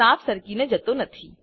સાપ સરકીને જતો નથી